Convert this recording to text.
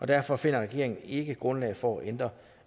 derfor finder regeringen ikke grundlag for at ændre